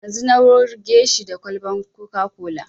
Yanzu na wurge shi da kwalban coca-cola